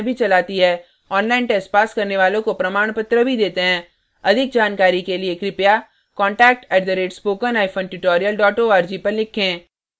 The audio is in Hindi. online test pass करने वालों को प्रमाणपत्र भी details हैं अधिक जानकारी के लिए contact @spokentutorial org पर लिखें